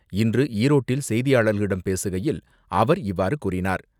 இன்று ஈரோட்டில் செய்தியாளர்களிடம் பேசுகையில் அவர் இவ்வாறு கூறினார்.